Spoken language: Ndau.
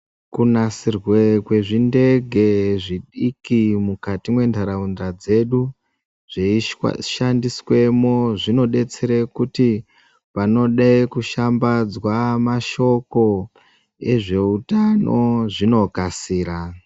Kunasirwa kwezvindege zvidiki mukati mendaraunda dzedu zveshandiswamo zvidetsera kuti vanoda kushambadza mashoko ezveutano zvinokasira